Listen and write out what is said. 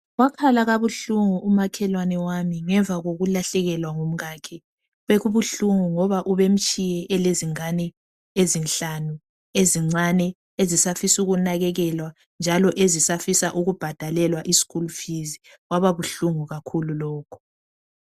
Wakhala kabuhlungu umakhelwane wami ngemva kokulahlekelwa ngumkakhe. Bekubuhlungu ngoba ubemtshiye elezingane ezinhlanu, ezincane. Ezisafisa ukunakekelwa, njalo ezisafisa ukubhadalelwa ischool fees. Kwaba buhlungu kakhulu lokho.